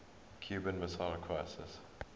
cuban missile crisis